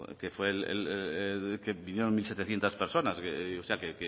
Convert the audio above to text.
que fue el que vinieron mil setecientos personas que